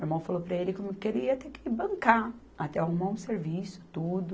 Meu irmão falou para ele que ele ia ter que bancar, até arrumar um serviço, tudo.